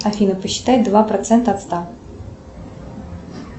афина посчитай два процента от ста